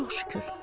Çox şükür.